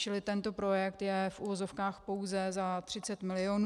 Čili tento projekt je v uvozovkách pouze za 30 milionů.